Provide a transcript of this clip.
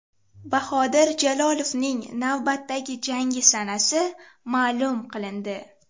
Bahodir Jalolovning navbatdagi jangi sanasi ma’lum qilindi.